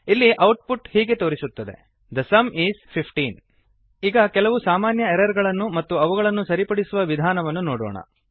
ಇಲ್ಲಿ output ಹೀಗೆ ತೋರಿಸುತ್ತದೆ the sum is 15 the sum is fifteen ಈಗ ಕೆಲವು ಸಾಮನ್ಯ ಎರರ್ ಗಳನ್ನು ಮತ್ತು ಅವುಗಳನ್ನು ಸರಿಪಡಿಸುವ ವಿಧಾನವನ್ನು ನೋಡೋಣ